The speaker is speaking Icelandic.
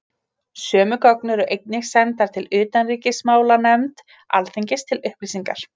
Sömu gögn eru einnig sendar utanríkismálanefnd Alþingis til upplýsingar.